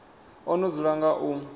o no dzula nga u